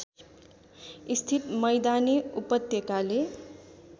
स्थित मैदानी उपत्यकाले